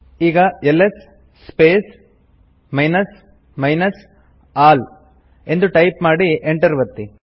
ಈಗ LS space minus minus all ಎಂದು type ಮಾಡಿ ಎಂಟರ್ ಒತ್ತಿ